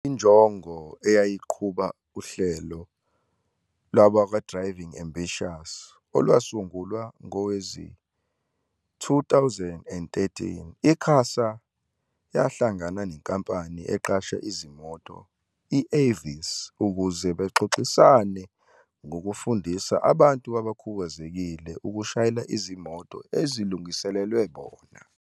Injongo eyayiqhuba uhlelo lwabakwa-Driving Ambitions, olwasungulwa ngowezi-2013. I-QASA yahla ngana nenkampani eqashisa izimoto i-Avis ukuze baxox isane ngokufundisa abantu abakhubazekile ukushayela izimoto ezilungiselelwe bona.